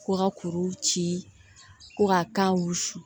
Ko ka kuru ci ko ka wusu